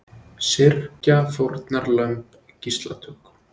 Syrgja fórnarlömb gíslatöku